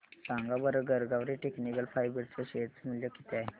सांगा बरं Garware technical fibres च्या शेअर चे मूल्य किती आहे